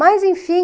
Mas, enfim...